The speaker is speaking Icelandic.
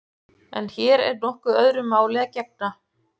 En hér er nokkuð öðru máli að gegna.